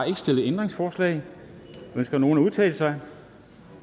ikke stillet ændringsforslag ønsker nogen at udtale sig